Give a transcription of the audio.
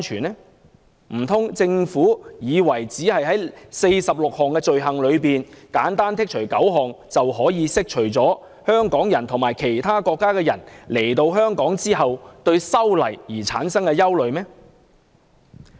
難道政府以為只要在46項罪類中剔除9項，便可以釋除香港人及其他國家來港人士對修例的憂慮？